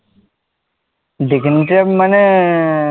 ডেকানট্রাপ মানে